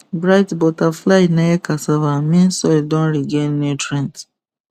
bright butterfly near cassava mean soil don regain nutrients